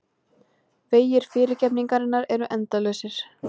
Vegir fyrirgefningarinnar eru endalausir.